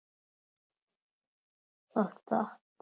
Það datt.